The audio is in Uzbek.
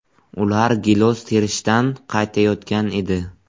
Ular gilos terishdan qaytayotgan edi.